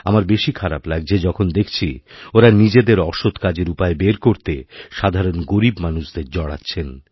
আমার বেশি খারাপ লাগছে যখন দেখছি ওঁরা নিজেদের অসৎ কাজেরউপায় বের করতে সাধারণ গরীব মানুষদের জড়াচ্ছেন